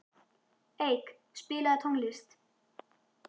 Eik, spilaðu tónlist.